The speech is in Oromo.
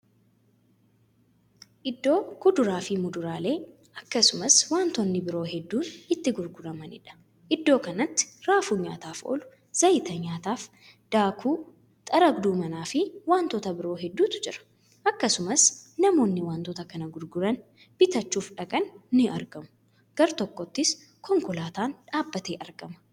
Iddoo kuduraafi muduraalee akkasumas wantoonni biroo hedduun itti gurguramaniidha. iddoo kanatti raafuu nyaataaf oolu, zayta nyaataaf, daakuu, xaragduu manaafi wantoota biroo hedduutu jira. akkasumas namoonni wantoota kana gurguranii bitachuuf dhaqan ni argamu. gar-tokkoottis konkolaataan dhaabatee argama.